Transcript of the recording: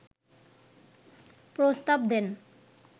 প্রস্তাব দেন